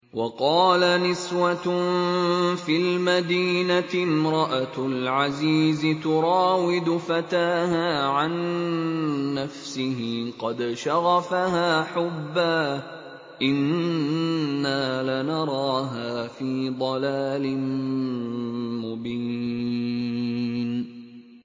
۞ وَقَالَ نِسْوَةٌ فِي الْمَدِينَةِ امْرَأَتُ الْعَزِيزِ تُرَاوِدُ فَتَاهَا عَن نَّفْسِهِ ۖ قَدْ شَغَفَهَا حُبًّا ۖ إِنَّا لَنَرَاهَا فِي ضَلَالٍ مُّبِينٍ